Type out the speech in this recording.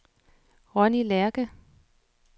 Ronni Lerche